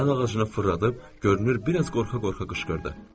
O əl ağacını fırladıb görünür biraz qorxa-qorxa qışqırdı.